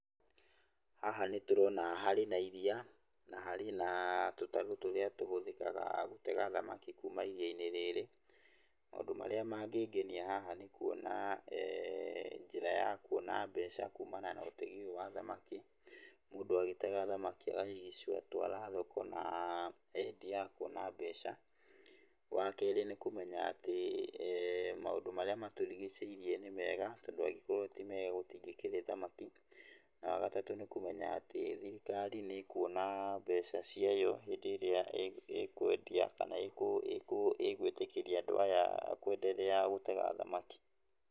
Haha nĩ tũrona harĩ na iria na harĩ na tũtarũ tũrĩa tũhũthĩkaga gũtega thamaki kuuma iria-inĩ rĩrĩ. Maũndũ marĩa mangĩngenia haha, nĩ kuona njĩra ya kuona mbeca kumana na ũtegi ũyũ wa thamaki, mũndũ atega thamaki agacitwara thoko na endia akona mbeca. Wa kerĩ, nĩ kũmenya atĩ maũndũ marĩa matũrigicĩirie nĩ mega tondũ angĩkorwo ti mega gũtingĩkĩrĩ thamaki na wa gatatũ, nĩ kũmenya atĩ thirikari nĩ ĩkuona mbeca ciayo hĩndĩ ĩrĩa ĩkwendia kana ĩgwĩtĩkĩria andũ aya kwenderea gũtega thamaki.